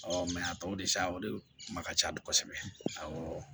a tɔw de sa o de ma ka ca dun kosɛbɛ awɔ